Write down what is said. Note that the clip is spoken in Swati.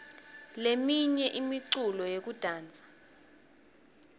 leminye imiculo yekudansa